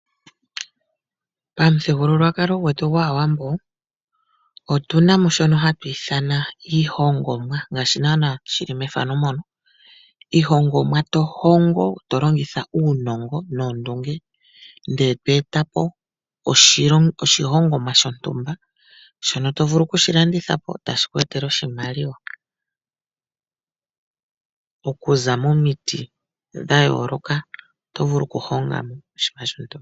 Pamuthigululwakalo gwetu gwAawambo, otu na mo shono hatu ithana iihongomwa. Iihongomwa to hongo to longitha uunongo noondunge, ndele to eta po oshilongomwa shontumba shono to vulu okushi landitha po, tashi ku etele oshimaliwa. Momiti dha yooloka oto vulu okuhonga mo oshinima shontumba.